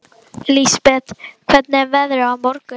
Lísebet, hvernig er veðrið á morgun?